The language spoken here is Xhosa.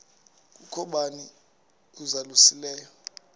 kukho bani uzalusileyo